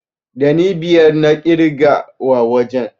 Ɗani biyar na ƙirga wa wajen.